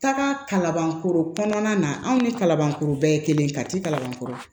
Taga kalabankoro kɔnɔna na anw ni kalabankoro bɛɛ ye kelen kati kalabankoro ye